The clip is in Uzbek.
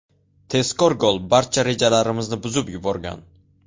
Tezkor gol barcha rejalarimizni buzib yuborgan.